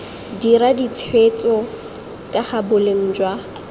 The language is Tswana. dira ditshwetso kaga boleng jwa